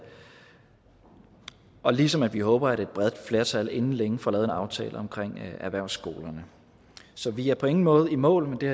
ligesom vi håber at et bredt flertal inden længe får lavet en aftale omkring erhvervsskolerne så vi er på ingen måde i mål men det